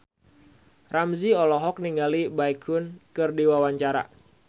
Ramzy olohok ningali Baekhyun keur diwawancara